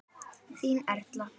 Þín Erla.